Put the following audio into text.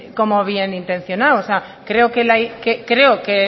como bienintencionado o sea creo que